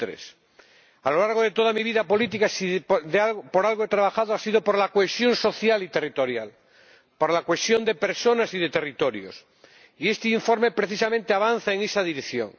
23. A lo largo de toda mi vida política, si por algo he trabajado, ha sido por la cohesión social y territorial, por la cohesión de personas y de territorios, y este informe precisamente avanza en esa dirección.